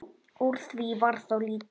Úr því varð þó lítið.